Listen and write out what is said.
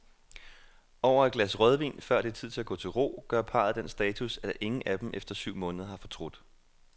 Over et glas rødvin, før det er tid at gå til ro, gør parret den status, at ingen af dem efter syv måneder har fortrudt.